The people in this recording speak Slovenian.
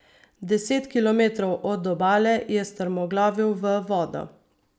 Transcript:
Deset kilometrov od obale je strmoglavil v vodo.